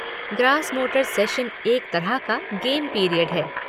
Grass motor session’ एक तरह का गेम पीरियड है।